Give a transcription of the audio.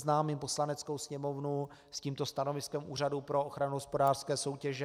Seznámím Poslaneckou sněmovnu s tímto stanoviskem Úřadu pro ochranu hospodářské soutěže.